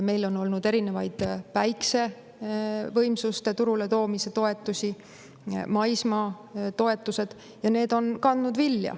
Meil on olnud erinevaid päiksevõimsuste turule toomise toetusi, maismaatoetusi, ja need on kandnud vilja.